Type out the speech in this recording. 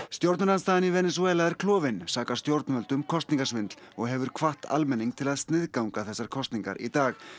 stjórnarandstaðan í Venesúela er klofin sakar stjórnvöld um kosningasvindl og hefur hvatt almenning til að sniðganga þessar kosningar í dag